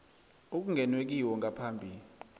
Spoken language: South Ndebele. okungenwe kiwo ngaphambi